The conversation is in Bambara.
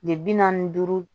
De bi naani ni duuru